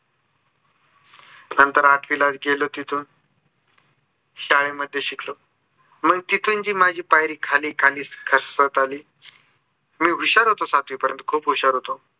नंतर आठवीला गेलो तिथून. शाळेमध्ये शिकलो. मंग तिथून जी माझी पायरी खाली खाली घसरत आली. मी हुशार होतो सातवी पर्यन्त खूप हुशार होतो.